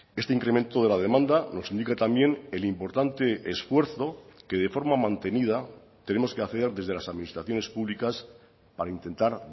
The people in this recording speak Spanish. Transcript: este incremento de la demanda nos indica también el importante esfuerzo que de forma mantenida tenemos que hacer desde las administraciones públicas para intentar